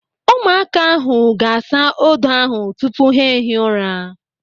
Ụmụaka ahụ ga-asa odo ahụ tupu ha ehie ụra.